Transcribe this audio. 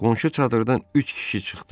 Qonşu çadırdan üç kişi çıxdı.